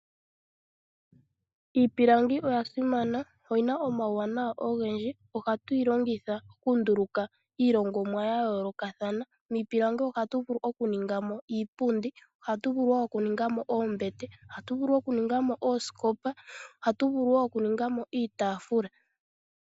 Iipilangi oya simana, ohatu yi longitha oku nduluka iilongomwa ya yoolokathana. Miipilangi ohatu vulu oku ninga mo iipundi, ohatu vulu oku ninga mo oombete, ohatu vulu okuninga mo oosikopa, noshowo ohatu vulu oku ninga mo iitaafula.